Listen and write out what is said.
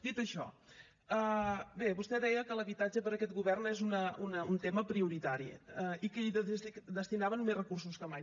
dit això bé vostè deia que l’habitatge per aquest govern és un tema prioritari i que hi destinaven més recursos que mai